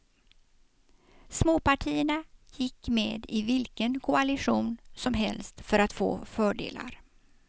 Småpartierna gick med i vilken koalition som helst för att få fördelar.